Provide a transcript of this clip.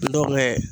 Dɔw bɛ